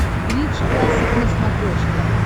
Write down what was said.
бридж классик на смотрешке